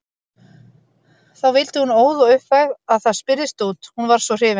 Þá vildi hún óð og uppvæg að það spyrðist út, hún var svo hrifin.